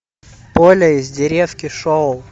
поля из деревки шоу